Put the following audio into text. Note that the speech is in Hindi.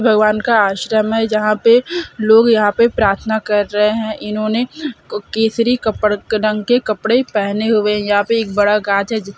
भगवान का आश्रम है जहाँ पर लोग यहाँ पे प्रार्थना कर रहे हैं इन्होंने केसरी कपड़े रंग के कपड़े पेहेने हुए हैं यहाँ पर एक बड़ा गाछ है।